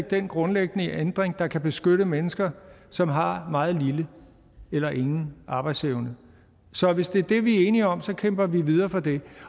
den grundlæggende ændring der kan beskytte mennesker som har meget lille eller ingen arbejdsevne så hvis det er det vi er enige om kæmper vi videre for det